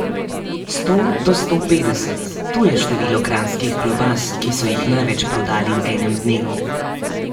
Sto do sto petdeset, to je število kranjskih klobas, ki so jih največ prodali v enem dnevu.